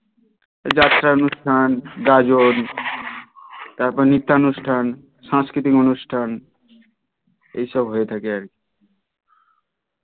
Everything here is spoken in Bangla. এই যাত্রা অনুষ্ঠান গাজন তার পর নৃত্যা অনুষ্ঠান সাংস্কৃতিক অনুষ্ঠান এই সব হয়ে থাকে আর কি